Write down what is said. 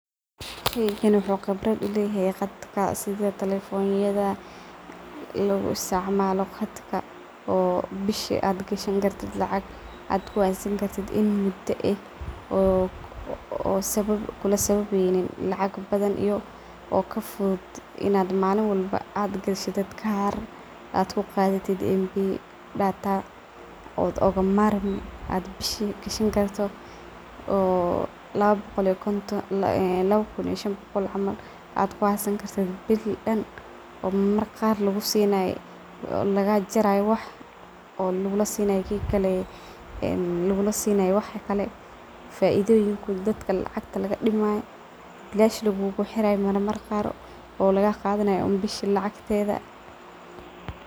Sheygan wuxu qibradh uleyexe qadka sidha , talefonyadha, loguisticmalo qadhka o bishi adh gashanikartidh lacag adh kuxaysani kartidh in mudaex, oo kulasababeynin lacag badan iyo kafudud inadh malin walba adh gashatit kaar, adh kuqadhati mp , data, od ogamarmi bishi gashani karto oo lawa lawa kun iyo shan bogol camal adh kuxaysanikartidh bil dan , oo marmarka qar lagusinay, lagajaray oo lagulasinay ee een lagulasinay waxkale faidhoyin dadka lacagta lagadimayo, bilash lagulaxiray, marmar qar oo lagaqadhanay un bishi lacagtedha .